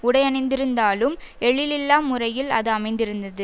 உடையணிந்திருந்தாலும் எழிலில்லா முறையில் அது அமைந்திருந்தது